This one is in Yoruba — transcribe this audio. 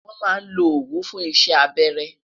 wọn má lo owu fún isé abẹrẹ